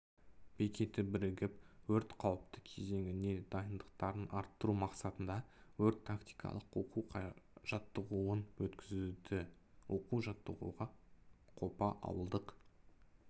бекеті бірігіп өрт қауіпті кезеңіне дайындықтарын арттыру мақсатында өрт-тактикалық оқу-жаттығуын өткізді оқу жаттығуға қопа ауылдық